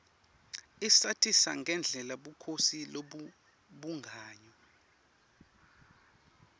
isatisa ngendlela bukhosi lobebungayo